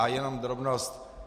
A jenom drobnost.